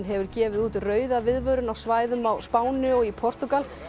hefur gefið út rauða viðvörun á svæðum á Spáni og í Portúgal